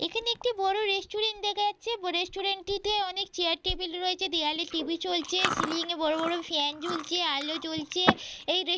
এখানে একটি বড় রেস্টুরেন্ট দেখা যাচ্ছে রেস্টুরেন্ট টিতে অনেক চেয়ার টেবিল রয়েছে দেয়ালে টি.ভি. চলছে সিলিং এ বড় বড় ফ্যান ঝুলছে আলো জ্বলছে এই রেস্টুরেন্ট এ।